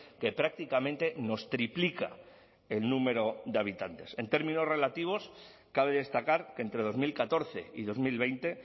que prácticamente nos triplica el número de habitantes en términos relativos cabe destacar que entre dos mil catorce y dos mil veinte